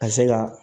A bɛ se ka